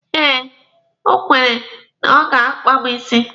Eh, o kwere na ọ ga-akpa mụ isi.